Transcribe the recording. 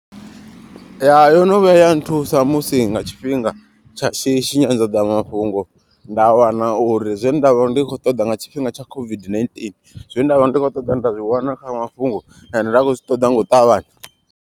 Ya yo no vhuya ya nthusa musi nga tshifhinga tsha shishi nyanḓadzamafhungo. Nda wana uri zwe nda vha ndi kho ṱoḓa nga tshifhinga tsha COVID-19. Zwe nda vha ndi khou ṱoḓa nda zwiwana kha mafhungo ende nda khou zwi ṱoḓa nga u ṱavhanya.